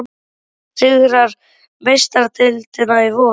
Hver sigrar Meistaradeildina í vor?